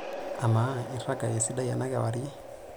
Amaa, irraga esidai ena kewarie?